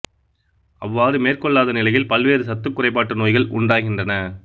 அவ்வாறு மேற்கொள்ளாத நிலையில் பல்வேறு சத்துக் குறைபாட்டு நோய்கள் உண்டாகின்றன